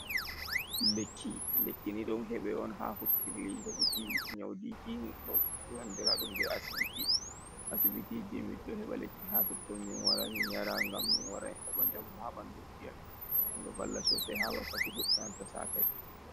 Lekki lekkini ɗon heɓa on ha hukkirli heɓuki nyaudiki ba andira ɗum be asbiti asibiti emin ɗo heɓa lekki ha totton min wara min yara, gam min wara heɓa jamu ha ɓandu ji amin ɗo valla sosai ha wakkati goɗɗo satai.